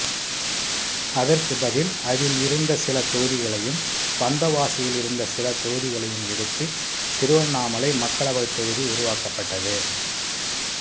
அதற்குப் பதில் அதில் இருந்த சில தொகுதிகளையும் வந்தவாசியில் இருந்த சில தொகுதிகளையும் எடுத்து திருவண்ணாமலை மக்களவைத் தொகுதி உருவாக்கப்பட்டது